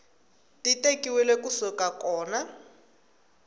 ti tekiwile ku suka kona